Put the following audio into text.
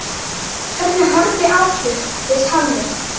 Hvernig horfði atvikið við Halli?